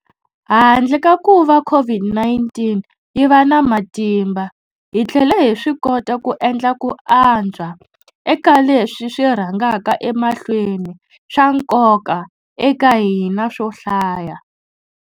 Handle ka kuva COVID-19 yi va na matimba, hi tlhele hi swikota ku endla ku antswa eka leswi swi rhangaka emahlweni swa nkoka eka hina swo hlaya.